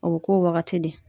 O bɛ k'o wagati de.